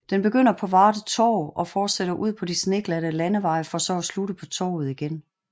Den begynder på Varde Torv og fortsætter ud på de sneglatte landeveje for så at slutte på Torvet igen